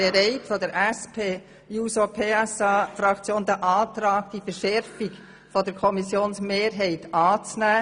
Die SPJUSO-PSA-Fraktion ist bereit, diese Verschärfung der Kommissionsmehrheit anzunehmen.